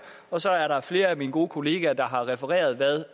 og så er der flere af mine gode kollegaer der har refereret hvad